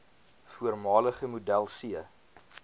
voormalige model c